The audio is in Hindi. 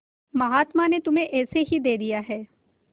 महात्मा ने तुम्हें ऐसे ही दे दिया है